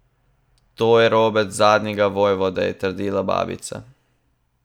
To je robec zadnjega vojvode, je trdila babica.